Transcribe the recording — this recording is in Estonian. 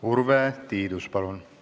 Urve Tiidus, palun!